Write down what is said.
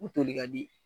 U toli ka di